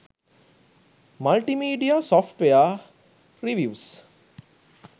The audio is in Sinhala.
multimedia software reviews